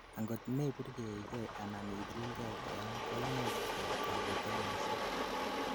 angot meburgeige anan ichulgei koyam koimuch koib kakotunosiek